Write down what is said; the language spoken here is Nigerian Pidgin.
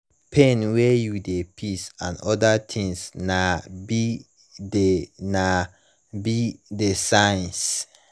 pain when u de piss and other things nai be the nai be the signs